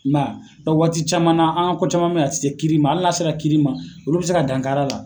I ma y'a waati caman na, an ko caman bɛ yen a tɛ se kirima, hali na sera kiri ma olu bɛ se ka dankari a la.